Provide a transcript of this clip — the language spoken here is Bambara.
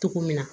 Cogo min na